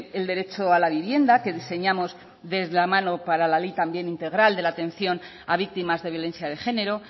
el derecho a la vivienda que diseñamos de la mano para la ley también integral de la atención a víctimas de violencia de género